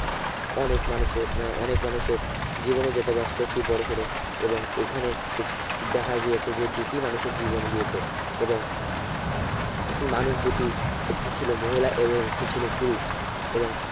অনেক মানুষের আহ অনেক মানুষের জীবন ও যেতে পারত একটি বড়োসড়ো এবং এখানে এক দেখা গিয়েছে যে দুটি মানুষের জীবন গিয়েছে এবং মানুষ দুটি একটি ছিলো মহিলা এরো একটি ছিলো পুরুষ এবং